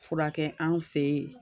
Furakɛ an fe yen